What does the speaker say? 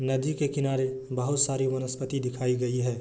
नदी के किनारे बहुत सारी वनस्पति दिखाई गई है।